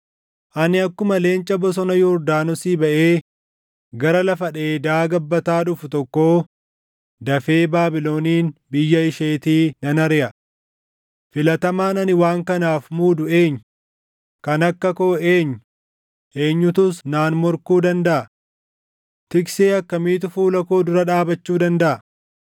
Ani akkuma leenca bosona Yordaanosii baʼee gara lafa dheedaa gabbataa dhufu tokkoo dafee Baabilonin biyya isheetii nan ariʼa. Filatamaan ani waan kanaaf muudu eenyu? Kan akka koo eenyu? Eenyutus naan morkuu dandaʼa? Tiksee akkamiitu fuula koo dura dhaabachuu dandaʼa?”